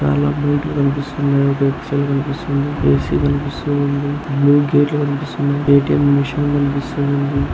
ఆడ బైక్ లు కనిపిస్తున్నాయ్. ఒక ఎక్సెల్ కనిపిస్తుంది. ఒక ఎ.సి. కనిపిస్తుంది. గేట్లు కనిపిస్తున్నాయ్. ఏ.టీఎం. మిషిన్ కనిపిస్తుంది.